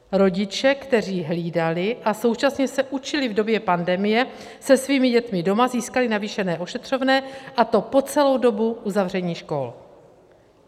Rodiče, kteří hlídali a současně se učili v době pandemie se svými dětmi doma, získali navýšené ošetřovné, a to po celou dobu uzavření škol.